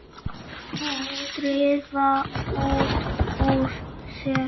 Drífa út úr sér.